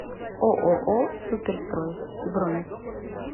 ооо суперстрой бронь